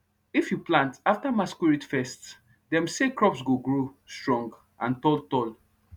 if you plant after masquerade fest dem say crops go grow strong and tall tall